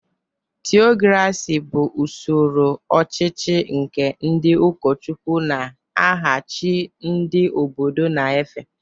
Theocracy bụ usoro ọchịchị nke ndị ụkọchukwu n’aha chi ndị obodo na-efe.